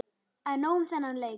En nóg um þennan leik.